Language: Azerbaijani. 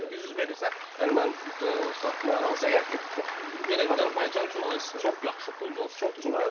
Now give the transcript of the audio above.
800 verirsə, yəni məncə o satmağa dəyər, çünki çox Yenə deyirəm, Azərbaycan üçün çox yaxşı puldur o.